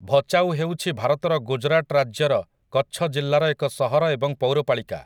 ଭଚାଉ ହେଉଛି ଭାରତର ଗୁଜରାଟ ରାଜ୍ୟର କଚ୍ଛ ଜିଲ୍ଲାର ଏକ ସହର ଏବଂ ପୌରପାଳିକା ।